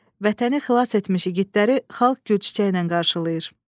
Vətəni xilas etmiş igidləri xalq gül çiçəyi ilə qarşılayır.